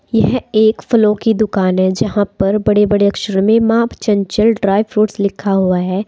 यह एक फलों की दुकान है जहां पर बड़े बड़े अक्षर में माँ चंचल ड्राई फ्रूट्स लिखा हुआ है।